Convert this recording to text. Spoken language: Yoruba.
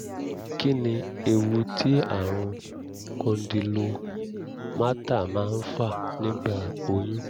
kí ni ewu tí àrùn condylomata máa ń fà nígbà oyún?